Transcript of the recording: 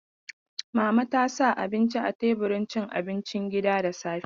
Mama ta sa abinci a teburin cin abinci gida da safe.